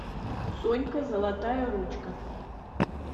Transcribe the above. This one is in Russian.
сонька золотая ручка